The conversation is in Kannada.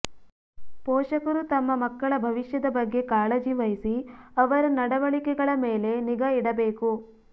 ಪೋಷಕರು ತಮ್ಮ ಮಕ್ಕಳ ಭವಿಷ್ಯದ ಬಗ್ಗೆ ಕಾಳಜಿ ವಹಿಸಿ ಅವರ ನಡವಳಿಕೆಗಳ ಮೇಲೆ ನಿಗಾ ಇಡಬೇಕು